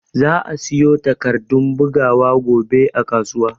Za'a siyo takardun bugawa gobe a kasuwa.